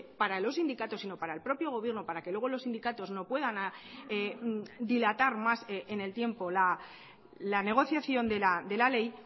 para los sindicatos sino para el propio gobierno para que luego los sindicatos no puedan dilatar más en el tiempo la negociación de la ley